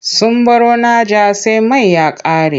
Sun baro Naja sai mai ya ƙare.